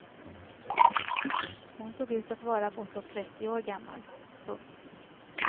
Hon såg ut att vara bortåt trettio år gammal. punkt